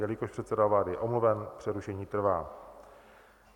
Jelikož předseda vlády je omluven, přerušení trvá.